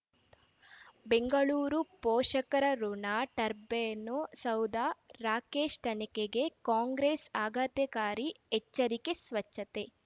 ಬೆಂಗಳೂರು ಪೋಷಕರಋಣ ಟರ್ಬೈನು ಸೌಧ ರಾಕೇಶ್ ತನಿಖೆಗೆ ಕಾಂಗ್ರೆಸ್ ಆಘಾತಕಾರಿ ಎಚ್ಚರಿಕೆ ಸ್ವಚ್ಛತೆ